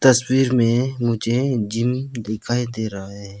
तस्वीर में मुझे जिम दिखाई दे रहा है।